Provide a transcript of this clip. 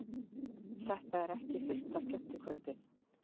Þetta er ekki fyrsta skemmtikvöldið.